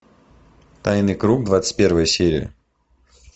тайный круг двадцать первая серия